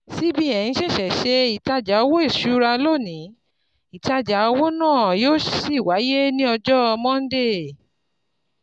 CBN ṣẹ̀ṣẹ̀ ṣe ìtajà owó ìṣúra lónìí, ìtajà owó náà yóò sì wáyé ní ọjọ́ Monday.